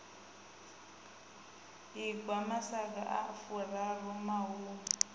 ingwa masaga a furaru mahumi